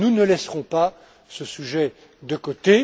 Nous ne laisserons pas ce sujet de côté.